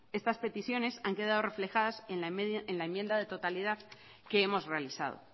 estas peticiones han quedado reflejadas en la enmienda de totalidad que hemos realizado